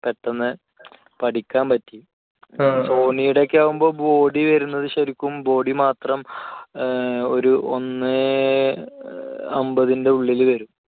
പെട്ടെന്ന് പഠിക്കാൻ പറ്റി. sony യുടെ ഒക്കെ ആകുമ്പോൾ body വരുന്നത് ശരിക്കും ശരിക്കും body മാത്രം ഏർ ഒരു ഒന്ന് അൻപതിന്റെ ഉള്ളിൽ വരും